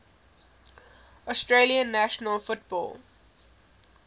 australian national football